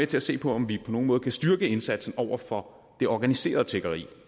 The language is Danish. til at se på om vi på nogen måde kan styrke indsatsen over for det organiserede tiggeri